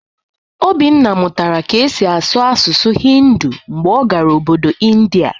Obinna mụtara ka e si asụ asụsụ Hindu mgbe ọ gara Obodo India